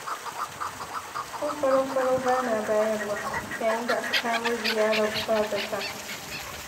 ko farau-farau bana bayarwa, yayin da aka kawo ziyarar ba-zata.